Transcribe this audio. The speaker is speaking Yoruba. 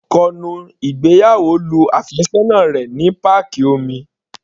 Adé yóò kọnu ìgbéyàwó lu àfẹ́sọ́nà rẹ̀ ní páàkì omi.